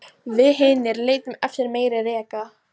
Við hinir leitum eftir meiri reka